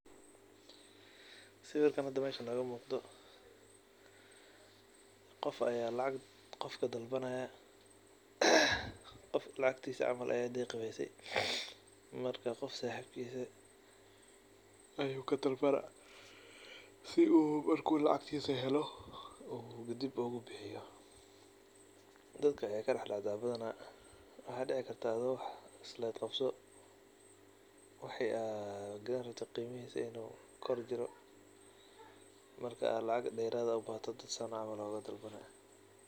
Siwirkan hada meeshan nooga muqdo qofka aya lacag qof kadalbanaya. Qofka lacagtiisa camal ayaa deeqi weyse marka qof saxibkisa ayuu kadalbana sii uu marku lacagtisa helo uu dib ugubixiyo. Dadka ayeey kadaxdacdaa badhana. Waxa dici karta adhoo islah wax qabso wixi aad gadhani rabte qeymihisa inuu kor jiro markaa aad ubaahato lacag deraad ubaaxa camal dad saan ugadalbaya.